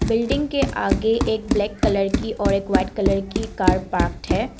Building के आगे एक ब्लैक कलर की और एक वाइट कलर की कार पाक्ड है।